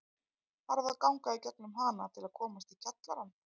Þarf að ganga í gegnum hana til að komast í kjallarann.